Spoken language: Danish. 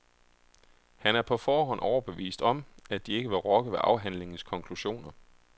Han er på forhånd overbevist om, at de ikke vil rokke ved afhandlingens konklusioner.